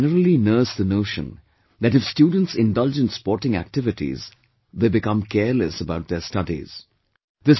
People generally nurse the notion that if students indulge in sporting activities, they become careless about their studies